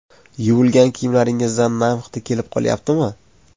Yuvilgan kiyimlaringizdan nam hidi kelib qolyaptimi?